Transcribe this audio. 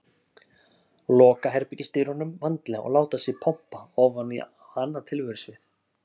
Loka herbergisdyrunum vandlega og láta sig pompa ofan á annað tilverusvið.